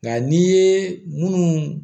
Nka n' ye munnu